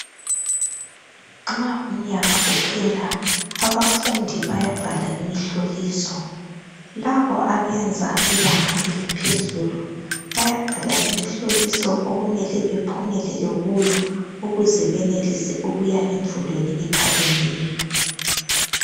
Nxa umnyaka uphela abafundi bayabhala imihloliso. Labo abenza ibanga eliphezulu bayabhala imihloliso okumele bephumelele kuyo ukuze benelise ukuya emfundweni ephakemeyo.